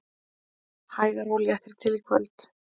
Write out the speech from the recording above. Hægari og léttir til í kvöld